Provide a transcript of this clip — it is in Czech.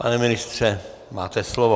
Pane ministře, máte slovo.